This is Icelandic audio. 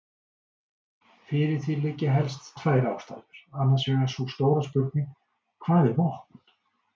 Fyrir því liggja helst tvær ástæður, annars vegar sú stóra spurning: hvað er vopn?